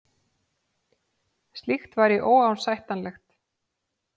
Slíkt væri óásættanlegt